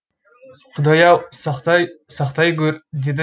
құдай ау сақтай сақтай көр деді